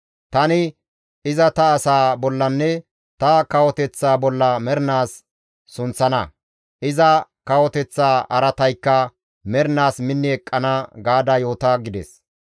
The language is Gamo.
Tani iza ta asaa bollanne ta kawoteththaa bolla mernaas sunththana; iza kawoteththa araataykka mernaas minni eqqana› gaada yoota» gides.